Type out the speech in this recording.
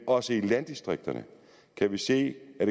også i landdistrikterne kan vi se at